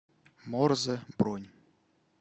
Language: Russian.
морзе бронь